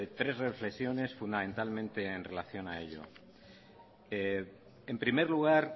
tres reflexiones fundamentalmente en relación a ello en primer lugar